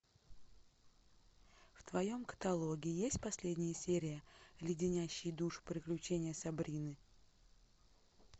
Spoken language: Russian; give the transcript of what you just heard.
в твоем каталоге есть последняя серия леденящие душу приключения сабрины